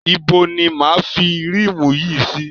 Ibo ni máa a fi rímù yìí sí?